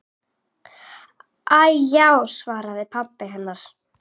Æi já, svaraði pabbi hennar.